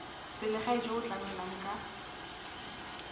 selegae jo bo tlamelang ka